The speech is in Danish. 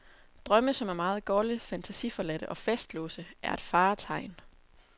Drømme, som er meget golde, fantasiforladte og fastlåste, er et faretegn.